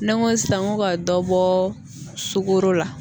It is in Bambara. N'an ko sisan n ko ka dɔ bɔ sukoro la